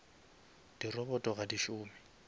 di robot ga di šome